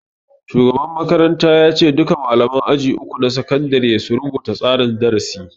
Shugaban makaranta ya ce duka malaman aji uku na sakandare su rubuta tsarin darasi